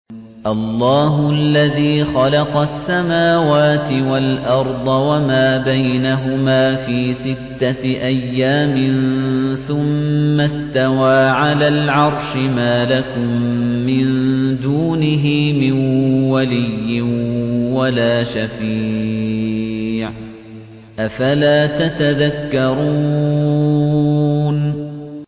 اللَّهُ الَّذِي خَلَقَ السَّمَاوَاتِ وَالْأَرْضَ وَمَا بَيْنَهُمَا فِي سِتَّةِ أَيَّامٍ ثُمَّ اسْتَوَىٰ عَلَى الْعَرْشِ ۖ مَا لَكُم مِّن دُونِهِ مِن وَلِيٍّ وَلَا شَفِيعٍ ۚ أَفَلَا تَتَذَكَّرُونَ